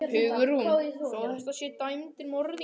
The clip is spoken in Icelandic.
Hugrún: Þó þetta séu dæmdir morðingjar?